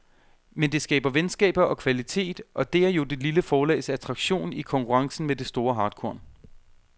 Men det skaber venskaber og kvalitet, og det er jo det lille forlags attraktion i konkurrencen med det store hartkorn.